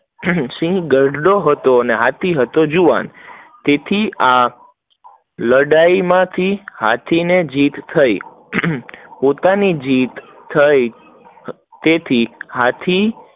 ઘરડો હતો, અને હાથી જુવાન હતો, તેથી આ લડાઈ માંથી હાથી ને જીત થઇ, પોતાની જીત થઇ તેથી હાથી